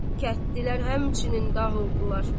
Kətdilər həmçinin dağıldılar.